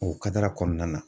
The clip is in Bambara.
O kɔnɔna na.